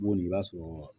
Boli i b'a sɔrɔ